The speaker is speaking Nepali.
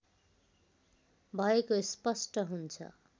भएको स्पष्ट हुन्छ